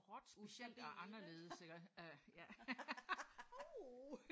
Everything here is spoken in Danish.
Ustabile ik?